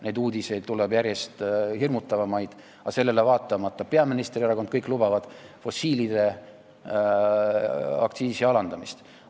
Neid uudiseid tuleb järjest hirmutavamaid, aga sellele vaatamata lubavad peaministri erakond ja kõik teised fossiilide kasutamise aktsiisi alandamist.